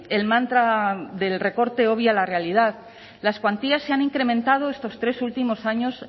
el mantra del recorte obvia la realidad las cuantías se han incrementado estos tres últimos años